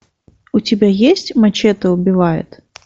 у тебя есть мачете убивает